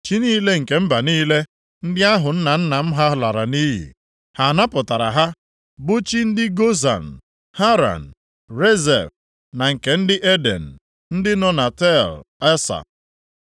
Chi niile nke mba niile, ndị ahụ nna nna m ha lara nʼiyi, ha napụtara ha, bụ chi ndị Gozan, Haran, Rezef na nke ndị Eden ndị nọ na Tel Asa?